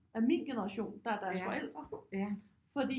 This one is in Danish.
Af min generation der er deres forældre fordi